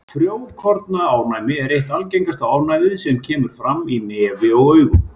Frjókornaofnæmi er eitt algengasta ofnæmið sem kemur fram í nefi og augum.